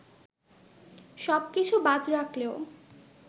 সব কিছু বাদ রাখলেও